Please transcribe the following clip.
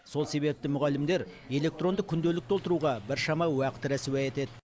сол себепті мұғалімдер электронды күнделік толтыруға біршама уақыт расуа етеді